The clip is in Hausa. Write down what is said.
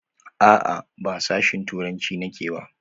A'a, ba a sashin turanci nake ba.